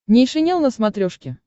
нейшенел на смотрешке